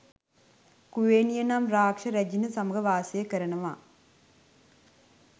කුවේණිය නම් රාක්ෂස රැජිණ සමග වාසය කරනවා.